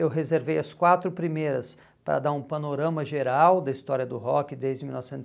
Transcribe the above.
Eu reservei as quatro primeiras para dar um panorama geral da história do rock desde mil novecentos